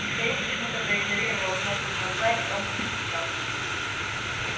михаил почему-то проигнорировал кнопку звонка и негромко постучал